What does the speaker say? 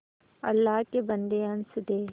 अल्लाह के बन्दे हंस दे